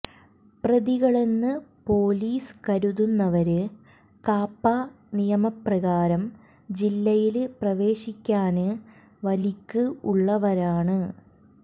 പ്രതികളെന്ന് police കരുതുന്നവര് കാപ്പ നിയമപ്രകാരം ജില്ലയില് പ്രവേശിക്കാന് വലിക്ക് ഉള്ളവരാണ്